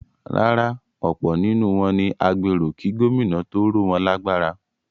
Rárá, ọ̀pọ̀ nínú wọn ni agbéró kí Gómìnà tó ró wọn lágbára.